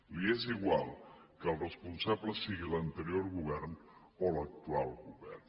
els és igual que el responsable sigui l’anterior govern o l’actual govern